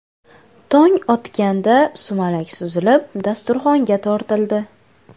Tong otganda sumalak suzilib, dasturxonga tortildi.